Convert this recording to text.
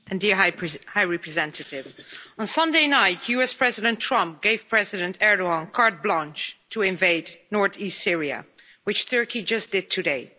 Madam President, High Representative, on Sunday night US President Trump gave President Erdogan carte blanche to invade north east Syria which Turkey just did today.